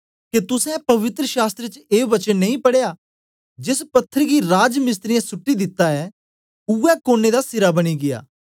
के तुसें पवित्र शास्त्र च ए वचन नेई पढ़ेया जेस पत्थर गी राजमिस्त्रियें सुट्टी दिता ऐ उवै कोने दा सिरा बनी गीया